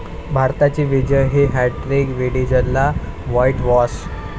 भारताची विजयी हॅटट्रिक, विंडीजला व्हाईटव्हाॅश